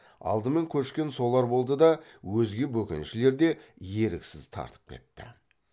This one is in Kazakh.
алдымен көшкен солар болды да өзге бөкеншілер де еріксіз тартып кетті